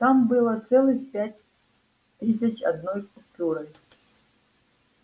там было целых пять тысяч одной купюрой